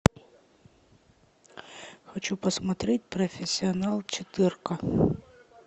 хочу посмотреть профессионал четырка